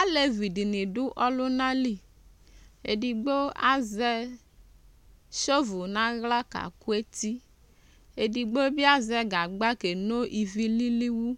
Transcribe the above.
Alevi dɩnɩ dʋ ɔlʋna li Edigbo azɛ sov nʋ aɣla kakʋ eti Edigbo bɩ azɛ gagba keno ivi lili wu